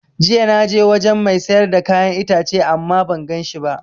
Jiya na je wajen mai siyar da kayan itace ama ban ganshi ba